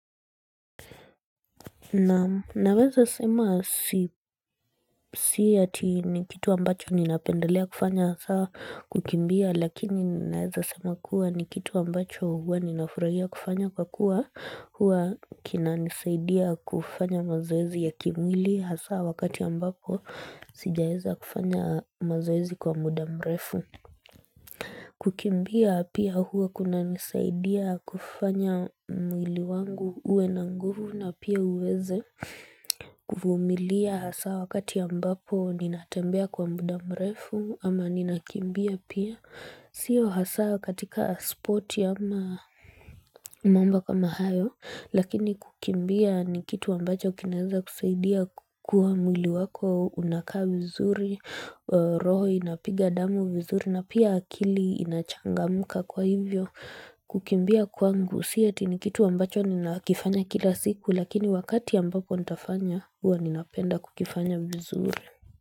Naweza sema si si ati ni kitu ambacho ninapendelea kufanya saa kukimbia lakini naweza sema kuwa ni kitu ambacho huwa ninafurahia kufanya kwa kuwa huwa kinanisaidia kufanya mazoezi ya kimwili hasaa wakati ambako sijaeza kufanya mazoezi kwa muda mrefu. Kukimbia pia huwa kunanisaidia kufanya mwili wangu uwe na nguvu na pia uweze kuvumilia hasa wakati ambapo ninatembea kwa muda mrefu ama ninakimbia pia Sio hasa katika sporti hamna mambo kama hayo Lakini kukimbia ni kitu ambacho kinaeza kusaidia kukua mwili wako unakaa vizuri roho inapiga damu vizuri na pia akili inachangamka kwa hivyo kukimbia kwangu. Si ati ni kitu ambacho nina kifanya kila siku lakini wakati ambapo nitafanya huwa ninapenda kukifanya vizuri.